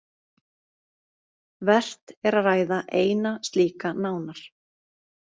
Vert er að ræða eina slíka nánar.